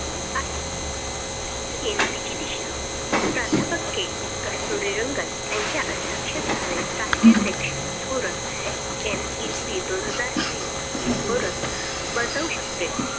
आहे. NEP ची दिशा प्राध्यापक के कस्तुरीरंगन यांच्या अध्यक्षतेखाली राष्ट्रीय शैक्षणिक धोरण NEP दोन हजार वीस हे धोरण बजाऊ शकते.